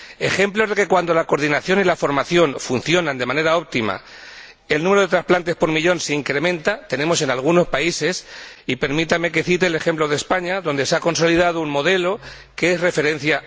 Ejemplos de que cuando la coordinación y la formación funcionan de manera óptima, el número de trasplantes por millón se incrementa, tenemos en algunos países. Y permítanme que cite el ejemplo de España, donde se ha consolidado un modelo de obligada referencia.